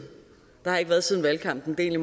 bare ikke været siden valgkampen det er